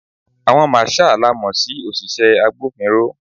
Àwọn marshal la mo sí òṣìṣẹ́ agbófinró.